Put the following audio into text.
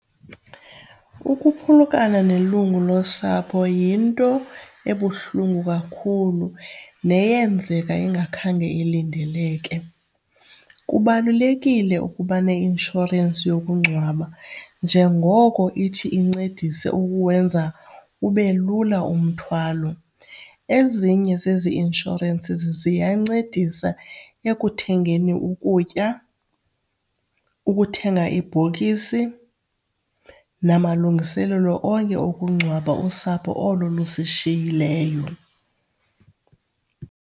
Ukuphulukana nelungu losapho yinto ebuhlungu kakhulu neyenzeka ingakhange ilindeleke. Kubalulekile ukuba neinshorensi yokungcwaba njengoko ithi incedise ukuwenza ube lula umthwalo. Ezinye zezi inshorensi ziyancedisa ekuthengeni ukutya, ukuthenga ibhokisi namalungiselelo onke ukungcwaba usapho olo lusishiyileyo.